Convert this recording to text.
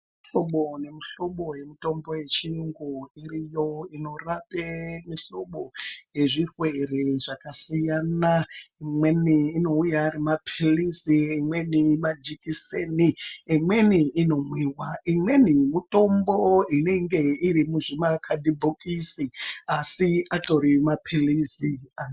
Muhlobo nemuhlobo yemutombo yechinungo iriyo inorape muhlobo yezvirwere zvakasiyana imweni inouya Ari maphirizi , imweni majekiseni imweni inomwiwa ,imweni mitombo inenge iri muzvi makhadhibhokisi asi atori maphirizi.